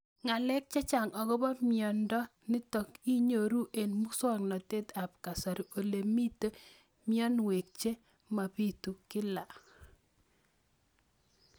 Ng'alek chechang' akopo miondo nitok inyoru eng' muswog'natet ab kasari ole mito mianwek che mapitu kila